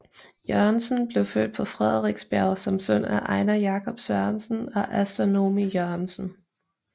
Jørgensen blev født på Frederiksberg som søn af Einar Jacob Sørensen og Asta Noomi Jørgensen